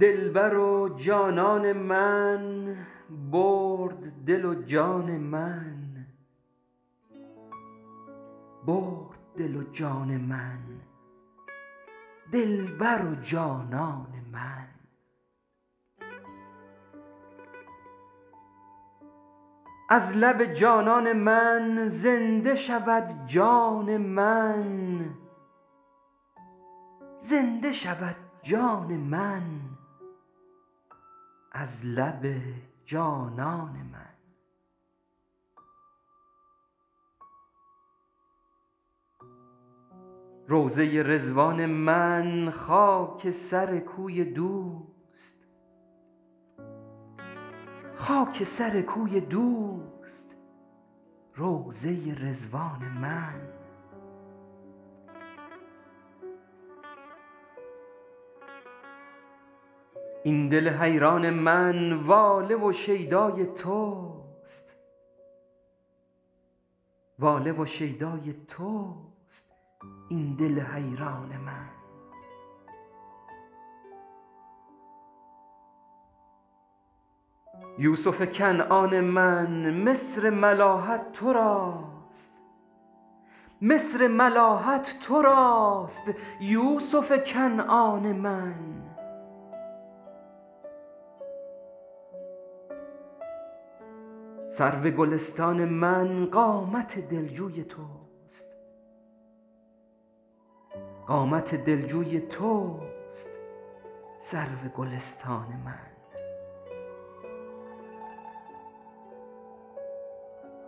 دلبر و جانان من برد دل و جان من برد دل و جان من دلبر و جانان من از لب جانان من زنده شود جان من زنده شود جان من از لب جانان من روضه ی رضوان من خاک سر کوی دوست خاک سر کوی دوست روضه ی رضوان من این دل حیران من واله شیدای تست واله و شیدای تست این دل حیران من یوسف کنعان من مصر ملاحت تر است مصر ملاحت تر است یوسف کنعان من سرو گلستان من قامت دلجوی توست قامت دلجوی توست سرو گلستان من